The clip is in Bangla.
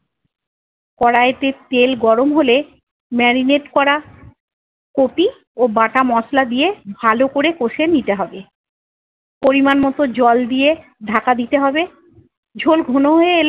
কড়াইতে তেল গরম হলে marinate করা কপি ও বাটা মশলা দিয়ে ভালোকরে কষে নিতে হবে। পরিমাণ মতো জল দিয়ে ঢাকা দিতে হবে। ঝোল ঘন হয়ে এলে-